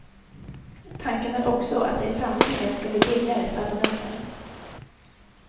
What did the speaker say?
Tanken är också att det i framtiden ska bli billigare för abonnenten.